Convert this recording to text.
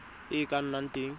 e e ka nnang teng